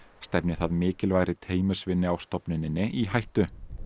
stefni það mikilvægri teymisvinnu á stofnuninni í hættu